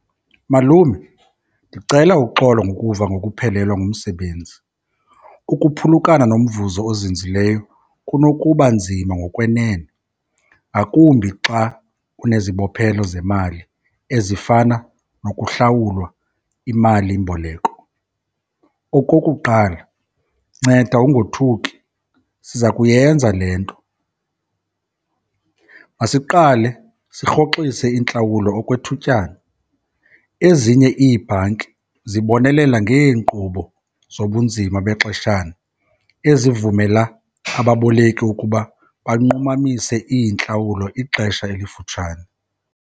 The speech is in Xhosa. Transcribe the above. Malume, ndicela uxolo ngokuva ngokuphelelwa ngumsebenzi. Ukuphulukana nomvuzo ozinzileyo kunokuba nzima ngokwenene, ngakumbi xa unezibophelo zemali ezifana nokuhlawulwa imalimboleko. Okokuqala, nceda ungothuki, siza kuyenza le nto. Masiqale sirhoxise iintlawulo okwethutyana. Ezinye iibhanki zibonelela ngeenkqubo zobunzima bexeshana ezivumela ababoleki ukuba banqumamise iintlawulo ixesha elifutshane.